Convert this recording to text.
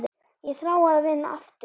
Ég þrái að vinna aftur.